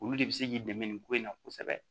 Olu de bɛ se k'i dɛmɛ nin ko in na kosɛbɛ